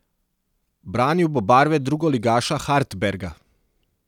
Branil bo barve drugoligaša Hartberga.